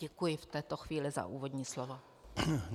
Děkuji v této chvíli za úvodní slovo.